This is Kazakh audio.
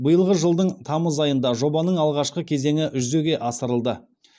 биылғы жылдың тамыз айында жобаның алғашқы кезеңі жүзеге асырылды